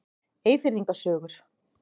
Eyfirðinga sögur.